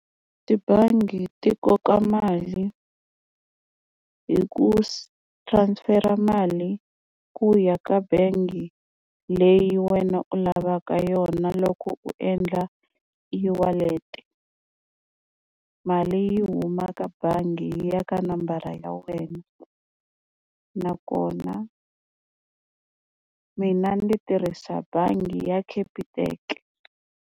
Tibangi ti koka mali hi ku transfer mali ku ya ka bangi leyi wena u lavaka yona loko u endla e-wallet mali yi huma ka bangi yi ya ka nambara ya wena nakona mina ni tirhisa bangi ya Capitec.